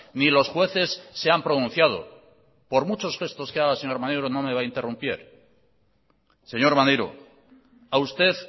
ni los jueces se han pronunciado por muchos gestos que haga señor maneiro no me va a interrumpir señor maneiro a usted